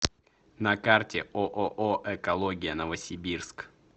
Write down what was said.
на карте ооо экология новосибирск